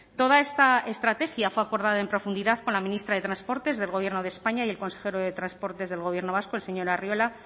toda esta estrategia fue acordada en profundidad con la ministra de transportes del gobierno de españa y el consejero de transportes del gobierno vasco el señor arriola